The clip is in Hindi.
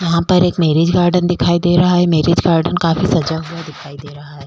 यहां पर एक मैरिज गार्डन दिखाई दे रहा है मैरिज गार्डन काफी सजा हुआ दिखाई दे रहा है।